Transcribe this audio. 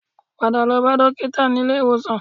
Padà lọ bá dókítà nílé ìwòsàn